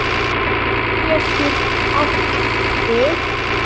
Flokkur getur átt við